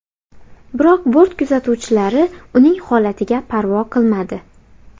Biroq bort kuzatuvchilari uning holatiga parvo qilmadi.